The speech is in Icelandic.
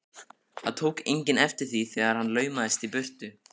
Það tók enginn eftir því þegar hann laumaðist í burtu.